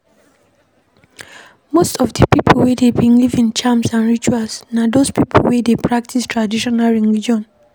Most of di pipo wey dey believe in charms and rituals na those pipo wey dey practice traditional religion